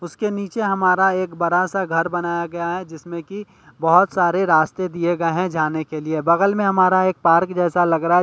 उसके नीचे हमारा एक बड़ा सा घर बनाया गया है जिसमें कि बहुत सारे रास्ते दिए गए हैं जाने के लिए बगल में हमारा एक पार्क जैसा लग रहा है।